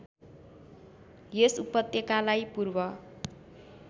यस उपत्यकालाई पूर्व